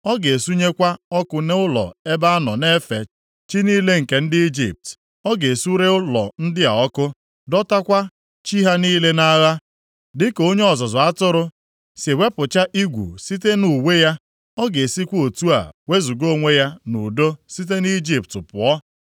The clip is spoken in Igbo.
Ọ ga-esunyekwa ọkụ nʼụlọ ebe a nọ na-efe chi niile nke ndị Ijipt. Ọ ga-esure ụlọ ndị a ọkụ, dọtakwa chi ha niile nʼagha. Dịka onye ọzụzụ atụrụ si ewepụcha igwu site na uwe ya, ọ ga-esikwa otu a wezuga onwe ya nʼudo site nʼIjipt pụọ.